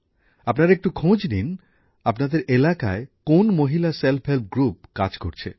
আপনারা একটু খোঁজ নিন আপনাদের এলাকায় কোন মহিলা স্বনির্ভর গোষ্ঠী কাজ করছে